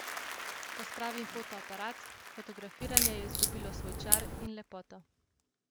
Pospravim fotoaparat, fotografiranje je izgubilo svoj čar in lepoto.